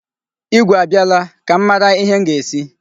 Igwe a bịala? Ka m mara ihe m ga-esi.